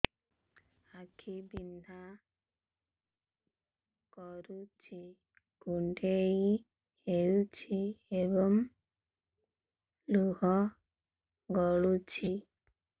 ଆଖି ବିନ୍ଧା କରୁଛି କୁଣ୍ଡେଇ ହେଉଛି ଏବଂ ଲୁହ ଗଳୁଛି